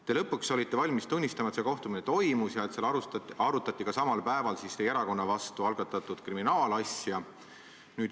Te olite lõpuks valmis tunnistama, et see kohtumine toimus ja et seal arutati ka samal päeval teie erakonna vastu algatatud kriminaalasja.